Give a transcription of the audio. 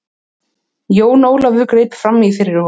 Jón Ólafur greip framí fyrir honum.